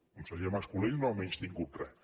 el conseller mas colell no ha menystingut res